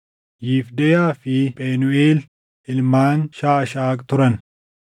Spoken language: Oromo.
Yifdeyaa fi Phenuuʼeel ilmaan Shaashaaq turan.